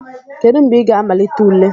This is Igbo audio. Kedu mgbe ị ga-amalite ule?